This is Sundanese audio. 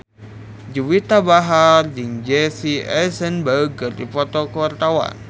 Juwita Bahar jeung Jesse Eisenberg keur dipoto ku wartawan